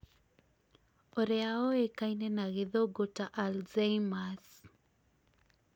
ũria ũĩkaine na gĩthũngu ta alzheimer's